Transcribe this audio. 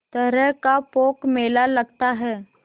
तरह का पोंख मेला लगता है